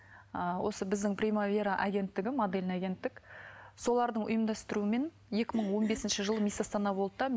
ы осы біздің прямая вера агенттігі модельный агенттік солардың ұйымдастыруымен екі мың он бесінші жылы мисс астана болды да